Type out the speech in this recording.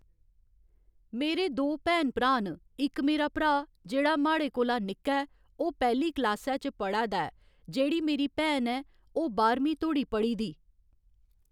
मेरे दो भैन भ्रा न इक मेरा भ्रा जेह्ड़ा माड़े कोला निक्का ऐ ओह् पैह्‌ली क्लासै च पढ़ै दा ऐ जेह्ड़ी मेरी भैन ऐ ओह् बाह्‌रमीं धोड़ी पढ़ी दी